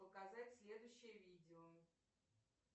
показать следующее видео